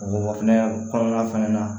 O o fɛnɛ kɔnɔna fɛnɛ na